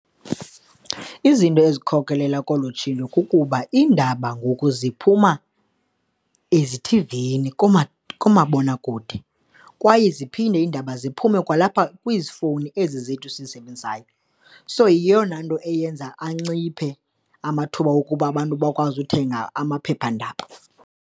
Izinto ezikhokelela kolu tshintsho kukuba iindaba ngoku ziphuma ezithivini kumabonakude kwaye ziphinde iindaba ziphume kwalapha kwiifowuni ezi zethu sizisebenzisayo. So, yeyona nto eyenza anciphe amathuba wokuba abantu bakwazi uthenga amaphephandaba.